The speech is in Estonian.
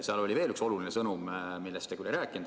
Seal oli veel üks oluline sõnum, millest te aga ei rääkinud.